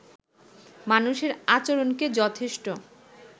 মানুষের আচরণকে যথেষ্ট